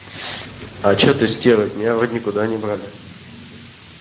а что ты стерва меня вроде никуда не брали